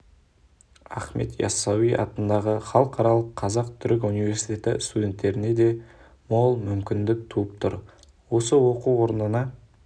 ахмет ясауи атындағы халықаралық қазақ-түрік университеті студенттеріне де мол мүмкіндік туып тұр осы оқу орнында